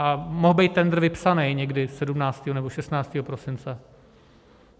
A mohl být tendr vypsaný někdy 17. nebo 16. prosince.